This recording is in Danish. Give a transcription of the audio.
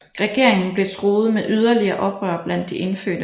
Regeringen blev truet med yderligere oprør blandt de indfødte